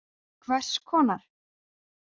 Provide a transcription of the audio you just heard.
Hvers konar.